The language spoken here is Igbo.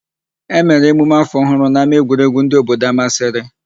E mere emume áfọ̀ ọhụụ n'ámáegwuregwu ndị obodo Amasịrị.